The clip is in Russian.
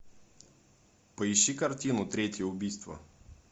поищи картину третье убийство